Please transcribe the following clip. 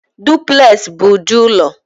Dupleks bụ ụdị ụlọ